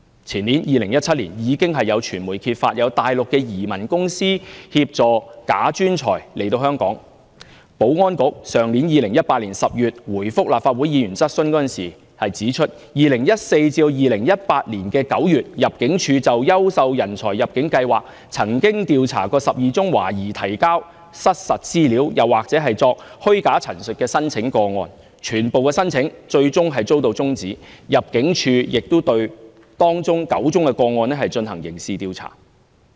前年，即2017年，有傳媒揭發大陸移民公司協助"假專才"來港，保安局於去年10月答覆立法會議員質詢時，指出2014年至2018年9月，入境處就優秀人才入境計劃曾調查12宗懷疑提交失實資料，或作虛假陳述的申請個案，全部申請最終遭到終止，入境處亦對當中9宗個案進行刑事調查。